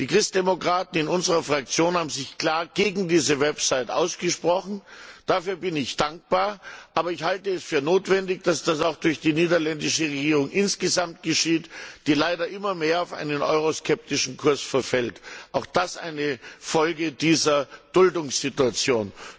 Die Christdemokraten in unserer Fraktion haben sich klar gegen diese Webseite ausgesprochen, dafür bin ich dankbar, aber ich halte es für notwendig, dass das auch durch die niederländische Regierung insgesamt geschieht, die leider immer mehr auf einen euroskeptischen Kurs verfällt auch das eine Folge dieser Duldungssituation.